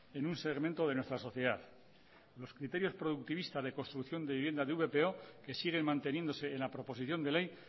en un segmento de nuestra sociedad los criterios productivistas de construcción de vivienda de vpo que siguen manteniéndose en la proposición de ley